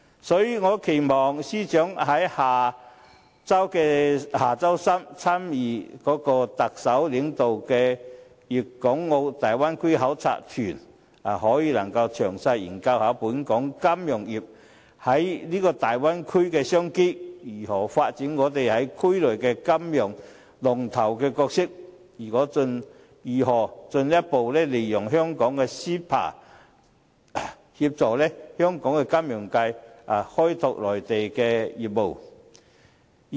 所以，我期望司長在下周三參與特首領導的粵港澳大灣區考察團時，可以詳細研究本港金融業在這大灣區的商機，如何發展我們在區內的金融龍頭角色，以及如何進一步利用香港的 CEPA 協助本地金融界開拓內地業務。